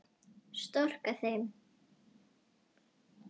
Storka þeim.